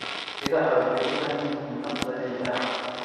Idaha waxay u baahan yihiin daaq dabiici ah.